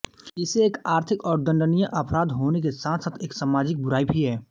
इसे एक आर्थिक और दण्डनीय अपराध होने के साथसाथ एक सामाजिक बुराई भी है